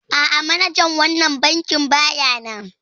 A'a manajan wannan bankin baya nan